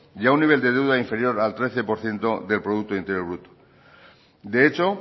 y a un nivel de deuda inferior al trece por ciento del producto interior bruto de hecho